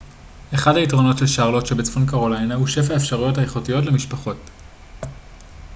אחד היתרונות של שרלוט שבצפון קרוליינה הוא שפע האפשרויות האיכותיות למשפחות